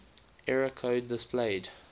error code displayed